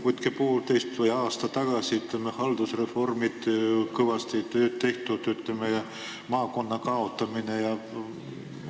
Võrrelge ajaga poolteist aastat või aasta tagasi: haldusreformiga on kõvasti tööd tehtud, maakondade kaotamine jne.